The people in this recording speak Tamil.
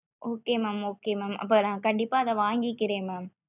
okay mam okay mam அப்போ நா கண்டிப்பா அத வாங்கிக்கிரே mam